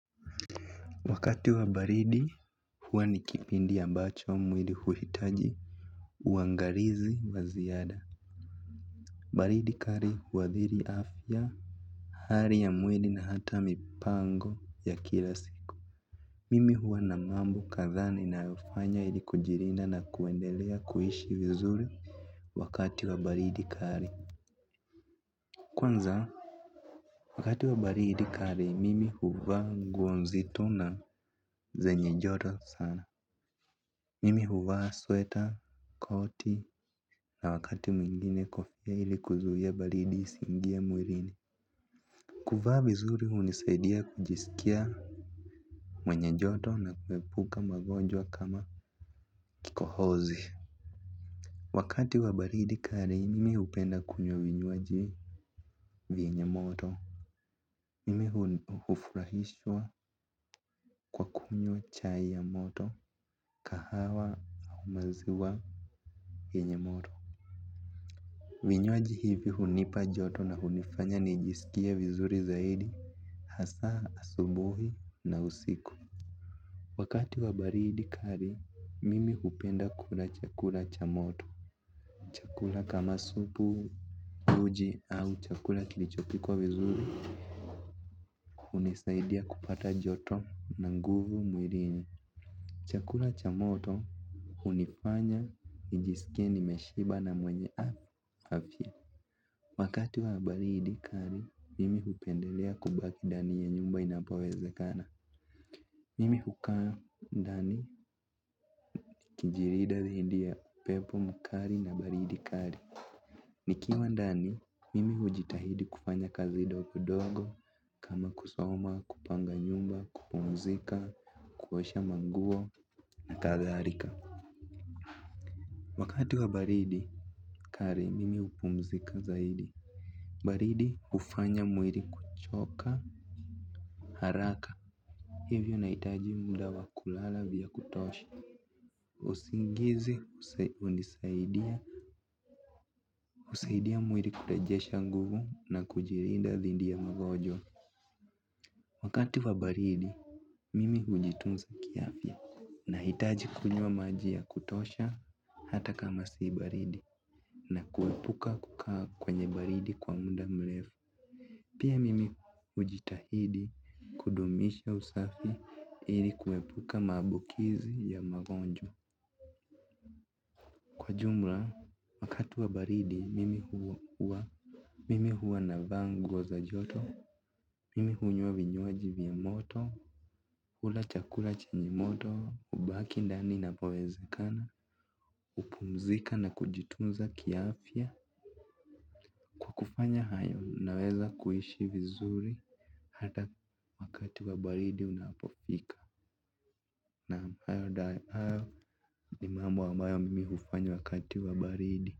Wakati wa baridi, huwa ni kipindi ambacho mwili huhitaji uangalizi wa ziada. Baridi kali huathiri afya, hali ya mwili na hata mipango ya kila siku. Mimi huwa na mambo kadhaa ninayofanya ili kujilinda na kuendelea kuishi vizuri wakati wa baridi kali. Kwanza, wakati wa baridi kali, mimi huvaa nguo nzito na zenye joto sana. Mimi huvaa sweta, koti na wakati mwingine kofia ili kuzuia baridi isiingie mwilini. Kuvaa vizuri hunisaidia kujisikia mwenye joto na kuepuka magonjwa kama kikohozi. Wakati wa baridi kali mimi hupenda kunywa vinywaji vyenye moto. Mimi hufurahishwa kwa kunywa chai ya moto, kahawa au maziwa vyenye moto. Vinywaji hivi hunipa joto na hunifanya nijisikie vizuri zaidi, hasa, asubuhi na usiku. Wakati wa baridi kali, mimi hupenda kula chakula cha moto. Chakula kama supu, uji au chakula kilichopikwa vizuri, hunisaidia kupata joto na nguvu mwilini. Chakula cha moto, hunifanya nijisikie nimeshiba na mwenye afya. Wakati wa baridi kali, mimi hupendelea kubaki ndani ya nyumba inapowezekana. Mimi hukaa ndani, kujilinda dhidi ya upepo mkali na baridi kali. Nikiwa ndani, mimi hujitahidi kufanya kazi ndogondogo, kama kusoma, kupanga nyumba, kupumzika, kuosha manguo na kadhalika. Wakati wa baridi kali, mimi hupumzika zaidi. Baridi hufanya mwili kuchoka, haraka, hivyo nahitaji muda wa kulala vya kutosha. Usingizi, hunisaidia, husaidia mwili kurejesha nguvu na kujilinda dhidi ya magonjwa. Wakati wa baridi, mimi hujitunza kiafya. Nahitaji kunywa maji ya kutosha hata kama si baridi na kuepuka kukaa kwenye baridi kwa muda mrefu. Pia mimi hujitahidi kudumisha usafi ili kuepuka maambukizi ya magonjwa. Kwa jumla, wakati wa baridi mimi huwa mimi huwa navaa nguo za joto. Mimi hunywa vinywaji vya moto, hula chakula chenye moto, hubaki ndani napowezekana. Hupumzika na kujitunza kiafya, kwa kufanya hayo naweza kuishi vizuri hata wakati wa baridi unapofika. Naam. Hayo ni mambo ambayo mimi hufanya wakati wa baridi.